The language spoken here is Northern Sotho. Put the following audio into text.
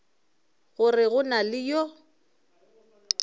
gore go na le yo